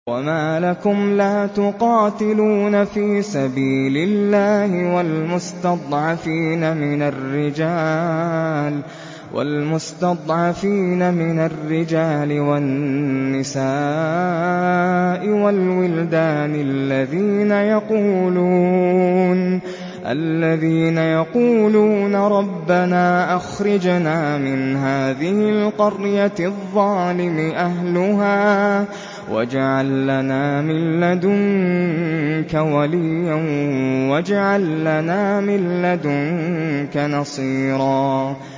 وَمَا لَكُمْ لَا تُقَاتِلُونَ فِي سَبِيلِ اللَّهِ وَالْمُسْتَضْعَفِينَ مِنَ الرِّجَالِ وَالنِّسَاءِ وَالْوِلْدَانِ الَّذِينَ يَقُولُونَ رَبَّنَا أَخْرِجْنَا مِنْ هَٰذِهِ الْقَرْيَةِ الظَّالِمِ أَهْلُهَا وَاجْعَل لَّنَا مِن لَّدُنكَ وَلِيًّا وَاجْعَل لَّنَا مِن لَّدُنكَ نَصِيرًا